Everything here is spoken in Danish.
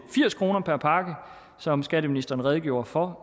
firs kroner per pakke som skatteministeren redegjorde for